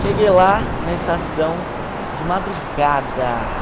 Cheguei lá na estação de madrugada.